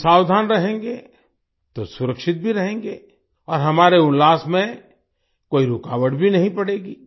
हम सावधान रहेंगे तो सुरक्षित भी रहेंगे और हमारे उल्लास में कोई रूकावट भी नहीं पड़ेगी